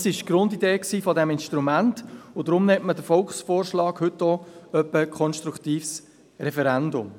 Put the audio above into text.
Dies ist die Grundidee dieses Instruments, und deshalb nennt man den Volksvorschlag heute etwa auch «konstruktives Referendum».